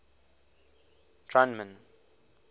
drunman